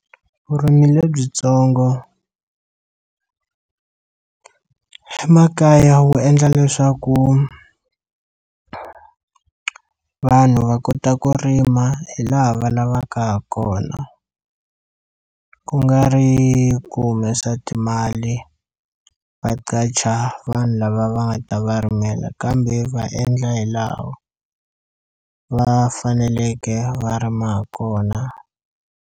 Vurimi lebyitsongo emakaya wu endla leswaku vanhu va kota ku rima hi laha va lavaka ha kona ku nga ri ku humesa timali va qacha vanhu lava va nga ta va rimela kambe va endla hi laha va faneleke va rima kona.